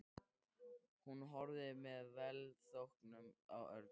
Hún horfði með velþóknun á Örn.